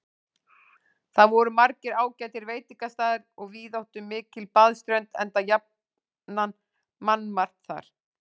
Þar voru margir ágætir veitingastaðir og víðáttumikil baðströnd, enda jafnan mannmargt þar.